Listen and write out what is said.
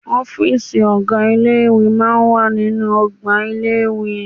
Ọ́fìsì ọ̀gá ilé ìwé máa ń wà nínú ọgbà ilé-ìwé